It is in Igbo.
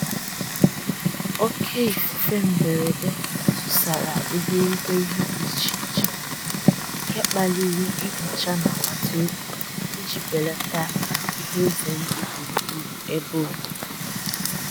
Òkè ífúfé mbérédé túsàrá íbéríbé íhé dí íché íché, nké kpálirí nhíchá ná àgbátá òbí íjí bélátá íhé ízé ndụ́ gbúrú-gbúrú ébé òbíbí.